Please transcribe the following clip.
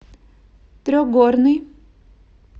трехгорный